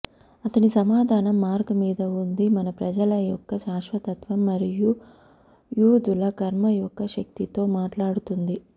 అతని సమాధానం మార్క్ మీద ఉంది మన ప్రజల యొక్క శాశ్వతత్వం మరియు యూదుల కర్మ యొక్క శక్తితో మాట్లాడుతుంది